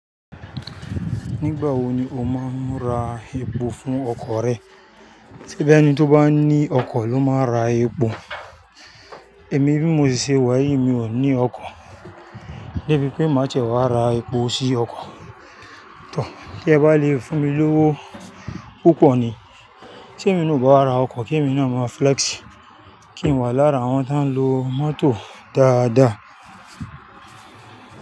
Nígbà wo ni o máa ń ra epo fún ọkọ̀ rẹ? Sé bí ẹni tí ó bá ní ọkọ̀ ló máa ń ra epo. Èmi bí mo ṣe wà yìí mi ò ní ọkọ̀, débí pé mà ti ẹ wá ra epo sí ọkọ̀. Tọ́, kí ẹ bá lè fún mi lówó púpọ̀ ni. Sé èmi nú ò bá ra ọkọ̀ kí èmi náà má flex, kí n wà lára àwọn tó ń lo mọ́tò dáadáa.